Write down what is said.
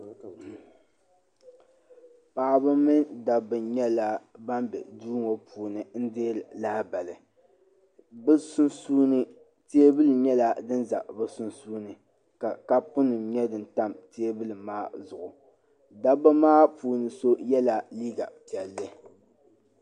Paɣaba mini dabba nyɛla ban be duu ŋɔ puuni n deeri lahabali bɛ sunsuuni teebuli nyɛla din za bɛ sunsuuni ka kapu nima nyɛ din tam teebuli maa zuɣu dabba maa puuni so yela piɛlli.